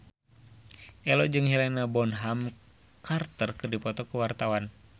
Ello jeung Helena Bonham Carter keur dipoto ku wartawan